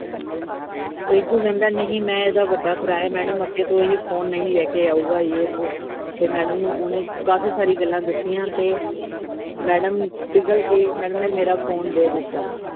ਰਿੰਕੂ ਕਿਹਦਾ ਨਹੀਂ, ਮੈ ਇਹਦਾ ਵੱਡਾ ਭਰਾ madam ਅਗੇ ਤੋਂ ਇਹ phone ਨਹੀਂ ਲੈ ਕੇ ਆਉਗਾ, ਜੇ ਵੋ ਤੇ madam ਨੂੰ ਓਹਨੇ ਕਾਫੀ ਸਾਰੀ ਗੱਲਾਂ ਦੱਸੀਆਂ, ਤੇ madam ਪਿਗਲ ਕੇ madam ਨੇ ਮੇਰਾ phone ਦੇ ਦਿੱਤਾ ।